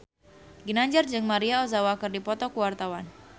Ginanjar jeung Maria Ozawa keur dipoto ku wartawan